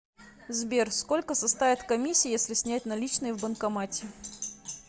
сбер сколько составит комиссия если снять наличные в банкомате